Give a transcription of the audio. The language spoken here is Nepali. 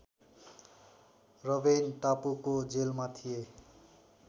रबेन टापुको जेलमा थिए